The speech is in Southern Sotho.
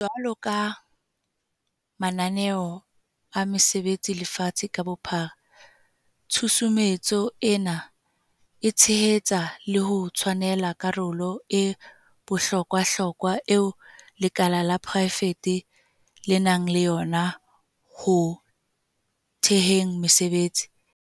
Jwalo ka mananeo a mesebetsi lefatsheng ka bophara, tshusumetso ena e tshehetsa le ho tshwanela karolo e bohlo kwahlokwa eo lekala la porae fete le nang le yona ho theheng mesebetsi.